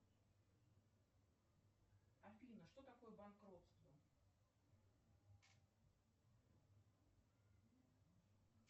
афина что такое банкротство